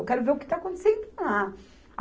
Eu quero ver o que está acontecendo lá.